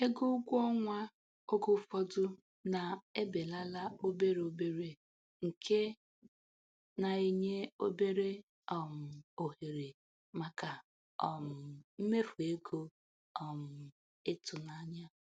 Ego ụgwọ ọnwa oge ụfọdụ na-ebelala obere obere nke na-enye obere um ohere maka um mmefu ego um ịtụnanya.